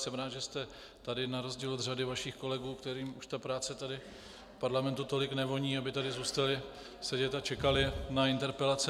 Jsem rád, že jste tady na rozdíl od řady vašich kolegů, kterým už ta práce tady v parlamentu tolik nevoní, aby tady zůstali sedět a čekali na interpelace.